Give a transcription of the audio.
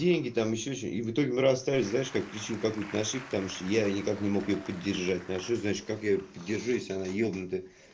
деньги там ещё что в итоге мы расстались знаешь как причину какой-то наши потому что я никак не мог поддержать наши знаешь как я её поддержу если она ебнутая